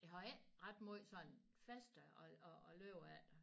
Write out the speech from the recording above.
Jeg har ikke ret måj sådan faste at at at lave af